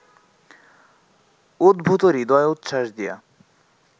উদ্ভূত হৃদয়োচ্ছ্বাস দিয়া